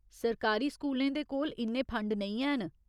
सरकारी स्कूलें दे कोल इन्ने फंड नेईं हैन।